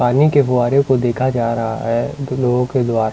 पानी के गुरे को देखा जा रहा है लोगों के द्वारा--